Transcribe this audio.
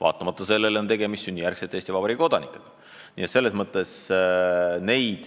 Ometi on tegemist sünnijärgsete Eesti Vabariigi kodanikega.